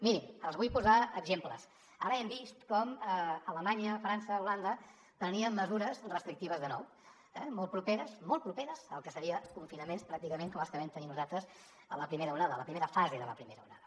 mirin els vull posar exemples ara hem vist com alemanya frança holanda prenien mesures restrictives de nou eh molt properes al que seria confinaments pràcticament com els que vam tenir nosaltres a la primera onada a la primera fase de la primera onada